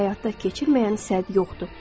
Həyata keçirməyənə səbəb yoxdur.